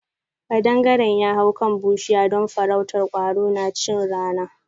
Ƙadangaren ya hau kan bushiya don farrautar kwaro na chin rana.